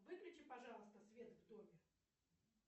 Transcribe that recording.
выключи пожалуйста свет в доме